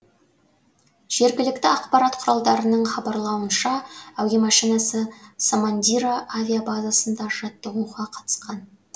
жергілікті ақпарат құралдарының хабарлауынша әуе машинасы самандира авиабазасында жаттығуға қатысқан